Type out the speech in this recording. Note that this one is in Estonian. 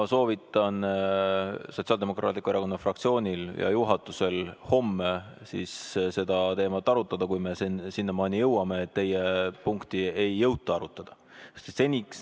Ma soovitan Sotsiaaldemokraatliku Erakonna fraktsioonil ja juhatusel homme seda teemat arutada, kui me sinnamaani jõuame, et teie punkti ei jõuta arutada.